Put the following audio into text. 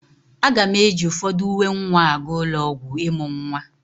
Aga m eji ụfọdụ uwe nwa aga ụlọ ọgwụ ịmụ nwa.